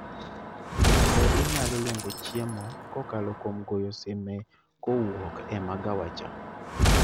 Bende inyalo luongo chiemo kokalo kuom goyo sime kowuok e magawa cha